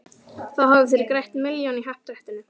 Þá hafið þér grætt milljón í happadrættinu.